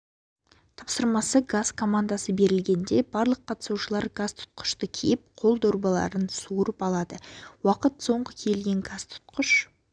тапсырмасы газ командасы берілгенде барлық қатысушылар газтұтқышты киіп қол дорбаларын суырып алады уақыт соңғы киінген газтұтқыш